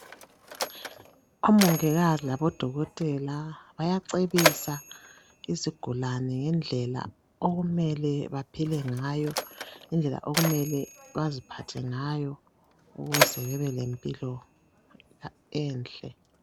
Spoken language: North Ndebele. Omongikazi labodokotela bayacebisa izigulani ngendlela okumele baphile ngayo ngendlela okumele baziphathe ngayo ukuze bebelempilo enhle.